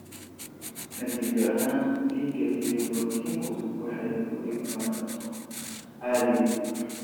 Natiijo ahaan, dhiiga iyo borotiinku waxay u gudbaan kaadida.